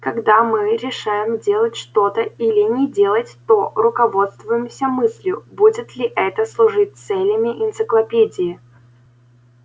когда мы решаем делать что-то или не делать то руководствуемся мыслью будет ли это служить целями энциклопедии